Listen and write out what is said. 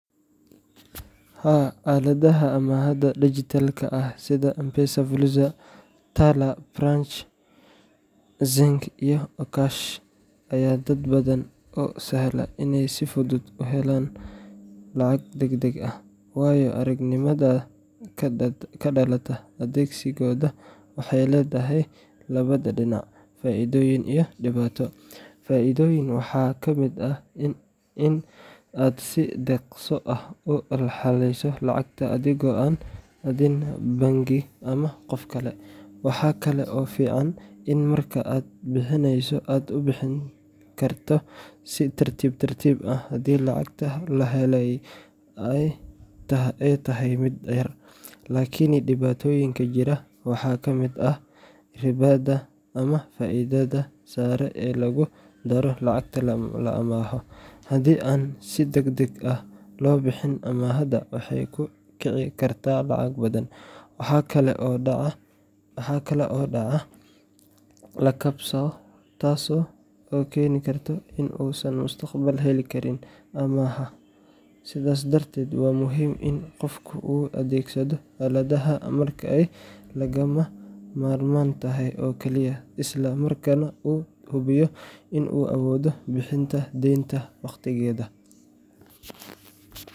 Haa, aaladaha amaahda dijitaalka ah sida M-Pesa Fuliza, Tala, Branch, Zenka iyo Okash ayaa dad badan u sahla inay si fudud u helaan lacag degdeg ah. Waayo-aragnimada ka dhalata adeegsigooda waxay leedahay labada dhinac — faa’iido iyo dhibaato. Faa’iidadooda waxaa ka mid ah in aad si dhaqso ah u helayso lacagta, adigoo aan aadin bangi ama qof kale. Waxa kale oo fiican in marka aad bixinayso aad u bixin karto si tartiib tartiib ah, haddii lacagta la helay ay tahay mid yar. Laakiin dhibaatooyinka jira waxaa ka mid ah ribada ama faa’iidada sare ee lagu daro lacagta la amaahdo. Haddii aan si degdeg ah loo bixin amaahda, waxay ku kici kartaa lacag badan. Waxaa kale oo dhacda in qofka la geliyo liiska dadka deynta laga cabsado, taas oo keeni karta in uusan mustaqbalka heli karin amaah kale. Sidaas darteed, waa muhiim in qofku uu adeegsado aaladahaan marka ay lagama maarmaan tahay oo kaliya, isla markaana uu hubiyo in uu awoodo bixinta deynta wakhtigeeda.